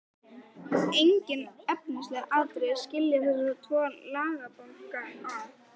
Engin efnisleg atriði skilja þessa tvo lagabálka að.